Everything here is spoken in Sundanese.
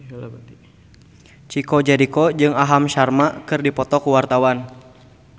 Chico Jericho jeung Aham Sharma keur dipoto ku wartawan